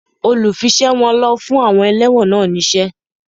Olùfiṣẹ̀wọ̀n ló fún àwọn ẹlẹ́wọ̀n náà ní iṣẹ́